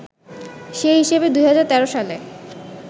সে হিসেবে ২০১৩ সালে